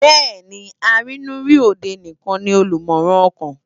Béèni àrinù ri ódé nikán ni ólùmòrán òkán